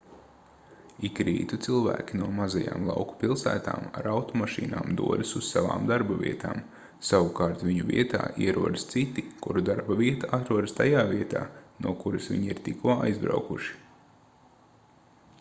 ik rītu cilvēki no mazajām lauku pilsētām ar automašīnām dodas uz savām darbavietām savukārt viņu vietā ierodas citi kuru darbavieta atrodas tajā vietā no kuras viņi ir tikko aizbraukuši